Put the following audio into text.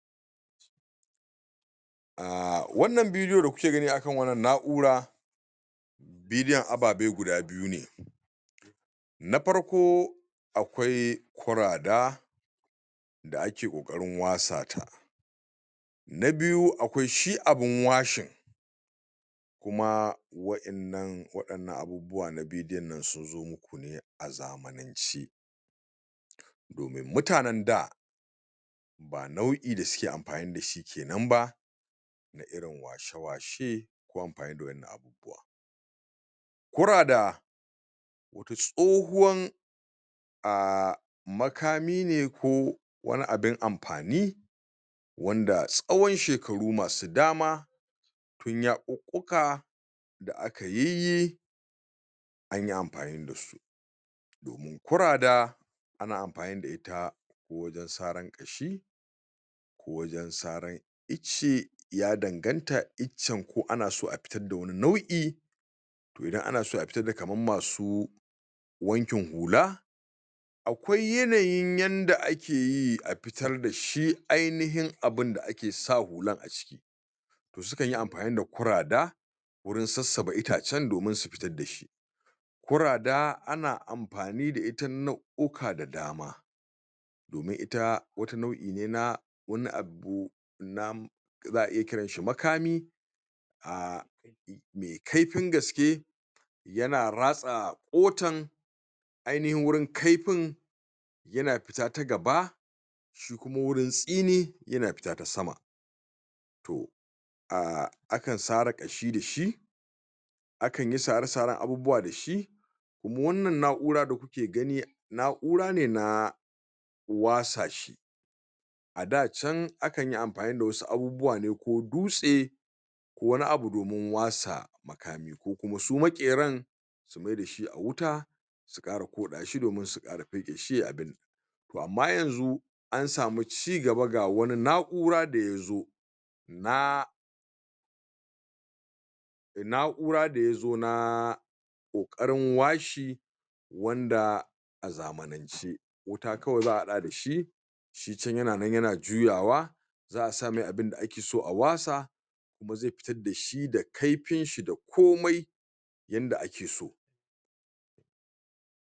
wannan video da kuke gani akan wannan na 'ura vidoe ababe guda biyu ne na farko akwai kura da da ake ƙoƙarin wasa ta na biyu akwai shi abun washin kuma wa in nan abubuwa na vidoe sunzo muku ne azamanance mutanan da ba nau'i da suke amfani dashi kenan ba na irin washe washe ko amfani da irin wannan abubuwa kurada wata tsohowan a makami ne ko wani abun amfani wanda tsawan shekaru masu dama tun yakukkuka da akayiyyi anyi amfani dasu kura da ana amfani da ita wajan sarar ƙashi ko wajan saran icce ya danganta iccan ko anaso a fitar da wani nau'i to idan anaso a fitar da kamar masu wankin hula akwai yanayin yanda akeyi a fitar dashi ainahin abunda ake sa hular a ciki sukanyi amfani da kurada gurin sassaɓa itace domin su fitar dashi kurada ana amfani da ita nau'uka da dama domin ita wata nau'ine na wani abu za a iya ƙiranshi makami a me kaifin gaske yana ratsa kotan aihanin wurin kaifin yana fita ta gaba murintsine yana fita ta sama to a kan sara ƙashe dashi akanyi sara saran abubuwa dashi kuma wannan na'ura da kuke gani na'urane na wasa shi a da can akanyi amfani da wasu abubuwa ne ko dutse wani abu domin wasa makami ko kuma su maƙeran su maidashi a wuta su ƙara kuɗashi domin su ƙara feƙeshi amma yanxu ansamu cigaba ga wani na'ura daya zo na na'ura da yazo na ƙoƙarin washe wanda a zamanan ce wuta kawai za a haɗa dashi shi can yana nan yana juyawa za asamai abunda akeso a wasa kuma zai fitar dashi da kaifin shi da komai yanda akeso